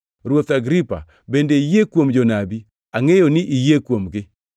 Ruoth Agripa, bende iyie kuom jonabi? Angʼeyo ni iyie kuomgi.”